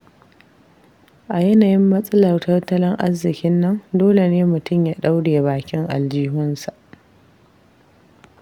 A yanayin matsalar tattalin arziƙinnan, dole ne mutum ya ɗaure bakin aljihunsa.